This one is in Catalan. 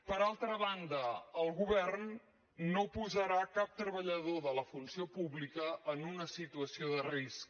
per altra banda el govern no posarà cap treballador de la funció pública en una situació de risc